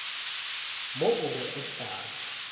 mo o be o sa